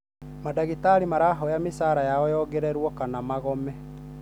Madagĩtarĩ marahoya mĩshara yao yongererũo kana magome.